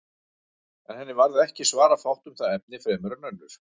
En henni varð ekki svara fátt um það efni fremur en önnur.